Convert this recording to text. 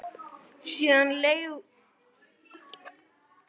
Síðan leið og beið.